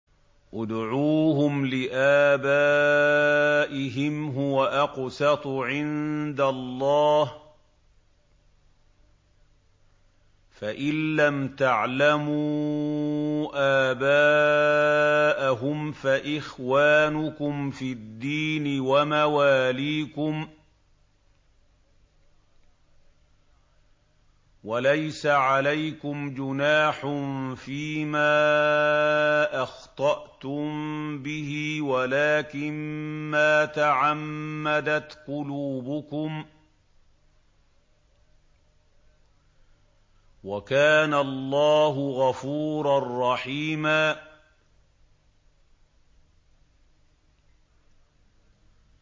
ادْعُوهُمْ لِآبَائِهِمْ هُوَ أَقْسَطُ عِندَ اللَّهِ ۚ فَإِن لَّمْ تَعْلَمُوا آبَاءَهُمْ فَإِخْوَانُكُمْ فِي الدِّينِ وَمَوَالِيكُمْ ۚ وَلَيْسَ عَلَيْكُمْ جُنَاحٌ فِيمَا أَخْطَأْتُم بِهِ وَلَٰكِن مَّا تَعَمَّدَتْ قُلُوبُكُمْ ۚ وَكَانَ اللَّهُ غَفُورًا رَّحِيمًا